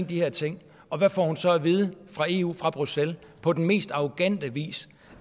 de her ting og hvad får hun så at vide fra eu fra bruxelles på den mest arrogante vis